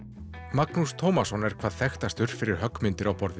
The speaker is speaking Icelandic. Magnús Tómasson er hvað þekktastur fyrir höggmyndir á borð